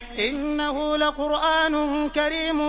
إِنَّهُ لَقُرْآنٌ كَرِيمٌ